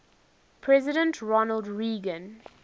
president ronald reagan